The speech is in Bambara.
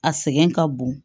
A sɛgɛn ka bon